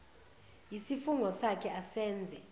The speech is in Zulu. yisifungo sakhe asenze